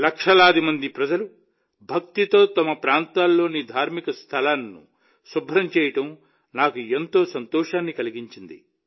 లక్షలాది మంది ప్రజలు భక్తితో తమ ప్రాంతాల్లోని ధార్మిక స్థలాలను శుభ్రం చేయడం నాకు సంతోషాన్ని కలిగించింది